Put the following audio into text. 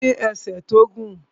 Ó ní ẹsẹ̀ tó gùn